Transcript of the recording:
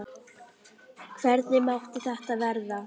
Hvernig mátti þetta verða?